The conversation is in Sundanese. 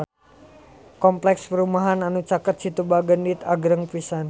Kompleks perumahan anu caket Situ Bagendit agreng pisan